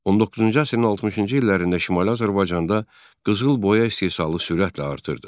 19-cu əsrin 60-cı illərində Şimali Azərbaycanda qızılboya istehsalı sürətlə artırdı.